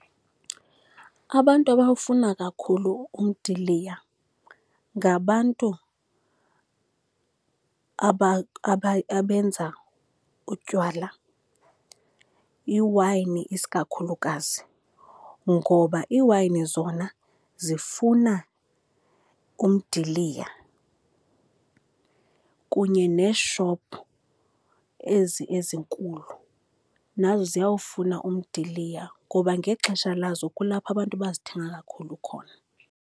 Abantu abawufuna kakhulu umdiliya ngabantu abenza utywala, iiwayini isikakhulukazi, ngoba iiwayini zona zifuna umdiliya, kunye neeshophu ezi ezinkulu nazo ziyawufuna umdiliya, ngoba ngexesha lazo kulapho abantu bazithenga kakhulu khona.